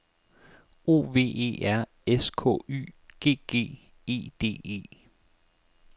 O V E R S K Y G G E D E